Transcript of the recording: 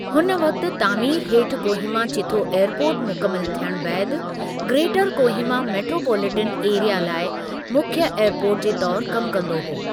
हुन वक़्ति तामीर हेठि कोहीमा चीथो एअरपोर्ट मुकमिलु थियणु बैदि ग्रेटर कोहीमा मेट्रोपोलैटिन एरिया लाइ मुख्य एअरपोर्ट जे तौरु कमु कंदो हो।